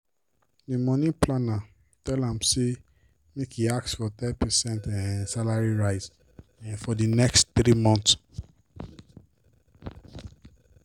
d money planner tell am say make e ask for ten percent um salary rise um for d next three months.